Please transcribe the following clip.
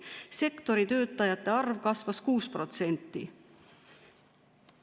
Sektori töötajate arv kasvas 6%.